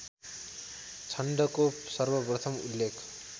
छन्दको सर्वप्रथम उल्लेख